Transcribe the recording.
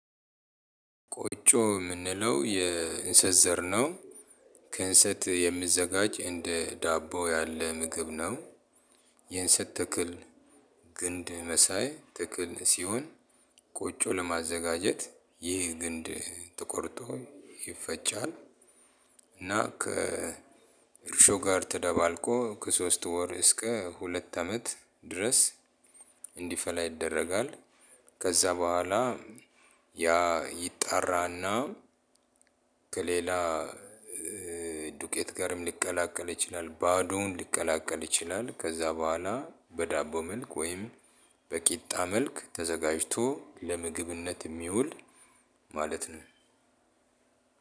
ቆጮ የምንለው የእንሰት ዘር ነው። ከእንሰት የሚዘጋጅ እንደ ዳቦ ያለ ምግብ ነው። የእንሰት ተክል ግንድ መሳይ ተክል ሲሆን። ቆጮ ለማዘጋጀት ይህ ግንድ ተቆርጦ ይፈጫል። እና ከእርሾ ጋር ተደባልቆ ከሶስት ወር እስከ ሁለት አመት ድረስ እንዲፈላ ይደረጋል። ከዛ በኋላ ያ ይጣራና ከሌላ ዱቄት ጋርም ሊቀላቀል ይችላል ባዶውን ሊቀላቀል ይችላል። ከዛ በኋላ በዳቦ መልክ ወይም በቂጣ መልክ ተዘጋጅቶ ለምግብነት የሚውል ማለት ነው።